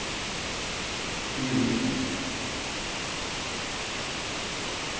Billinge